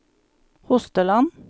Hosteland